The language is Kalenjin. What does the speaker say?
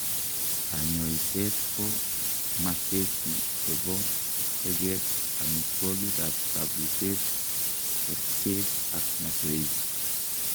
Kanyoseet ko masesi chebo teget, omitwogik ak kabuseet, kercheek ak masoesi